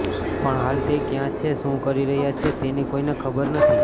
પણ હાલ તે ક્યાં છે શું કરી રહ્યો છે તેની કોઈને ખબર નથી